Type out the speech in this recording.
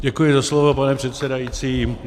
Děkuji za slovo, pane předsedající.